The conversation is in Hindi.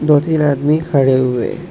दो तीन आदमी खड़े हुए--